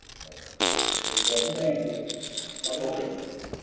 জ্বি জ্বি জ্বি